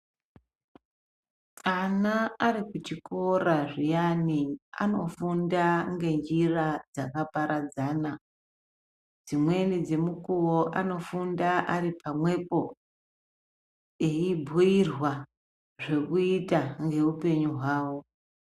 Ana ari kuchikora zviyana anofunda ngenjira dzakaparadzana dzimweni dzemukuwo anofunda ari pamwepo eyibhuyirwa zvekuita ngeupenyu hwavo.